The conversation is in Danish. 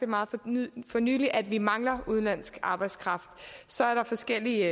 for nylig at vi mangler udenlandsk arbejdskraft så er der forskellige